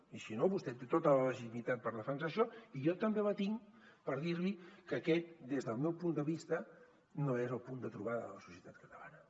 i si no vostè té tota la legitimitat per defensar això i jo també la tinc per dir li que aquest des del meu punt de vista no és el punt de trobada de la societat catalana